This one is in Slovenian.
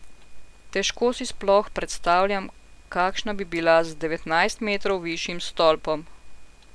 Težko si sploh predstavljam, kakšna bi bila z devetnajst metrov višjim stolpom.